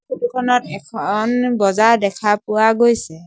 Photo খনত এখন বজাৰ দেখা পোৱা গৈছে।